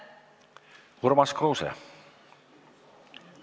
Urmas Kruuse.